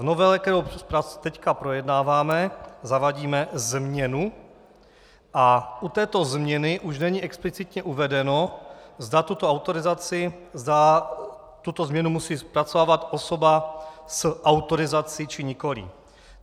V novele, kterou nyní projednáváme, zavádíme změnu a u této změny už není explicitně uvedeno, zda tuto autorizaci, zda tuto změnu musí zpracovávat osoba s autorizací, či nikoli.